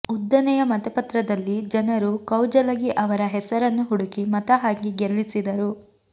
ಉದ್ದನೆಯ ಮತಪತ್ರದಲ್ಲಿ ಜನರು ಕೌಜಲಗಿ ಅವರ ಹೆಸರನ್ನು ಹುಡುಕಿ ಮತ ಹಾಕಿ ಗೆಲ್ಲಿಸಿದರು